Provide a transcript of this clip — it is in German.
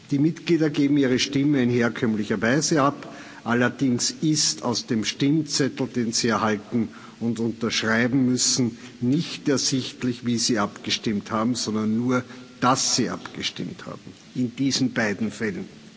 Die Mitglieder geben ihre Stimme in herkömmlicher Weise ab, allerdings ist aus dem Stimmzettel, den sie erhalten und unterschreiben müssen, nicht ersichtlich, wie sie abgestimmt haben, sondern nur, dass sie abgestimmt haben in diesen beiden Fällen.